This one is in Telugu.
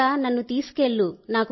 దేవుడా నన్ను తీసుకెళ్లు